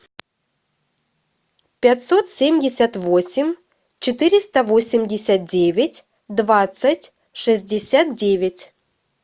пятьсот семьдесят восемь четыреста восемьдесят девять двадцать шестьдесят девять